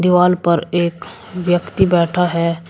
दीवाल पर एक व्यक्ति बैठा है।